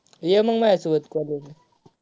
ये मग माझ्यासोबत college ला.